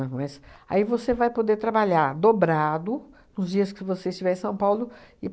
mas, aí você vai poder trabalhar dobrado nos dias que você estiver em São Paulo e